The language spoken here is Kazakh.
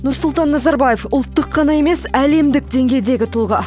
нұрсұлтан назарбаев ұлттық қана емес әлемдік деңгейдегі тұлға